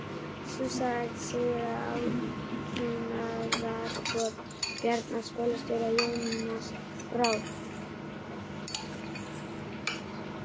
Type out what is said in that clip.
Sú saga segir að átrúnaðargoð Bjarna skólastjóra, Jónas frá